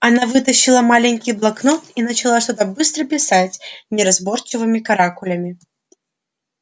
она вытащила маленький блокнот и начала что-то быстро писать неразборчивыми каракулями